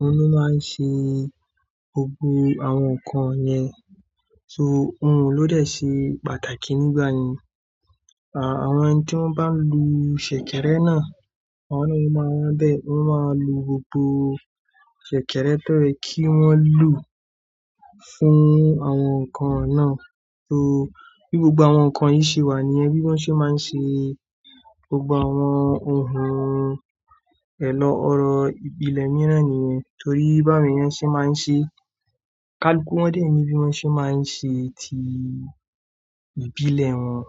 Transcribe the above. òun ni ó máa ń ṣe gbogbo àwọn ǹkan yẹn. So ohùn ló dẹ̀ ṣe pàtàkì nígbà yẹn. Àwọn ẹni tí wọ́n bá ń lo ṣẹ̀kẹ̀rẹ̀ náà, àwọn náà ló máa n wá bẹ, wọ́n máa lo gbogbo ṣẹ̀kẹ̀rẹ̀ tó ye kí wọ́n lò fún àwọn ǹkan náà. So bí gbogbo àwọn ǹkan yìí ṣe wà níyẹn, bí wọ́n ṣe máa ń ṣe gbogbo àwọn ohun èlò orin ìbílẹ̀ mìíràn nìyẹn. Torí bí àwọn èèyàn ṣe máa ń ṣe, káalù ku wọ́n dé ń mi bí wọ́n ṣe máa ń ṣe ti ìbílẹ̀ wọn.